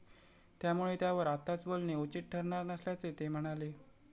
त्यामुळे त्यावर आत्ताच बोलणे उचित ठरणार नसल्याचे ते म्हणाले.